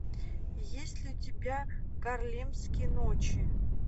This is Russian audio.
есть ли у тебя гарлемские ночи